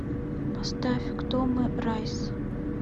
поставь кто мы райс